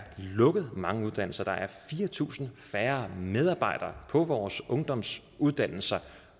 lukket mange uddannelser der er fire tusind færre medarbejdere på vores ungdomsuddannelser